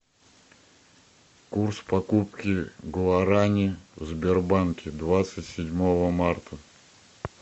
курс покупки гуаране в сбербанке двадцать седьмого марта